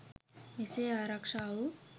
මෙසේ ආරක්‍ෂා වූ